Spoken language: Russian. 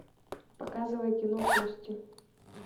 показывай кино кости